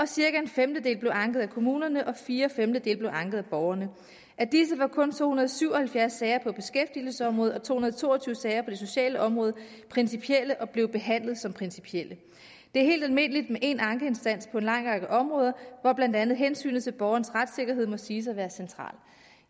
cirka en femtedel blev anket af kommunerne og fire femtedele blev anket af borgerne af disse var kun to hundrede og syv og halvfjerds sager på beskæftigelsesområdet og to hundrede og to og tyve sager på det sociale område principielle og blev behandlet som principielle det er helt almindeligt med én ankeinstans på en lang række områder hvor blandt andet hensynet til borgerens retssikkerhed må siges at være centralt